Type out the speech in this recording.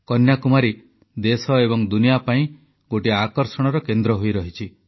କନ୍ୟାକୁମାରୀ ଦେଶ ଏବଂ ଦୁନିଆ ପାଇଁ ଗୋଟିଏ ଆକର୍ଷଣର କେନ୍ଦ୍ର ହୋଇରହିଛି